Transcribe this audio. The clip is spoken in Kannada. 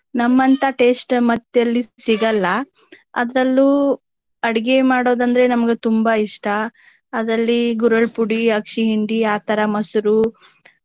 ನಮ್ಮಂತ taste ಮತ್ತ ಎಲ್ಲು ಸಿಗಲ್ಲಾ ಅದ್ರಲ್ಲು ಅಡಗೆ ಮಾಡೋದ ಅಂದ್ರೆ ನಮ್ಗೆ ತುಂಬಾ ಇಷ್ಟಾ. ಅದ್ರಲ್ಲಿ ಗುರೆಳ್ಳ ಪುಡಿ, ಅಗ್ಸಿ ಹಿಂಡಿ, ಆ ತರಾ ಮಸರು.